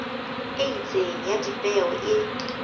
e itseng ya dipeo e